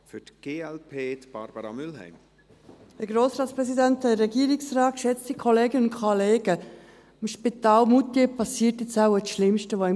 Im Spital Moutier geschieht nun wohl das Schlimmste, das einem geschehen kann: